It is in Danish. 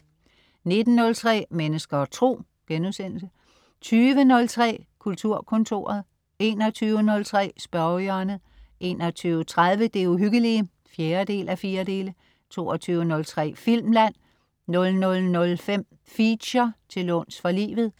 19.03 Mennesker og Tro* 20.03 Kulturkontoret* 21.03 Spørgehjørnet* 21.30 Det uhyggelige 4:4* 22.03 Filmland* 00.05 Feature: Til låns for livet*